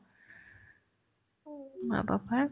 মা papa ৰ